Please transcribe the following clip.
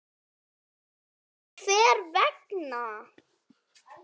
mér finnst